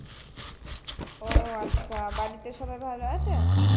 ও আচ্ছা বাড়িতে সবাই ভালো আছে